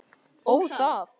Ó, það.